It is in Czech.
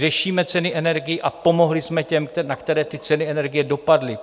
Řešíme ceny energií a pomohli jsme těm, na které ty ceny energií dopadly.